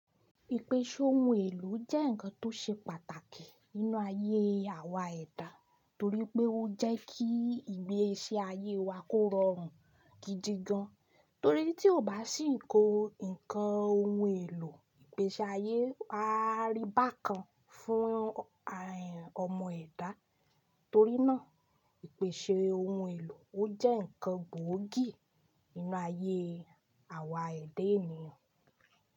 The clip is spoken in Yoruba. Ìpèsè ohun èlò jẹ́ ǹkan tó ṣe pàtàkì nínú ayé awa ẹ̀dá torí pé ó jẹ́ kí ìgbésí ayé wa kó rọrùn gidi gan, torí tí ó bá sì kó ǹkan ohun èlò ìgbèsi ayé, á rí bákan fún ọmọ ẹ̀dá, torí náà ìpèsè ohun èlò ó jẹ́ ǹkan gbóògì nínú ayé awa ẹ̀dá ènìyàn.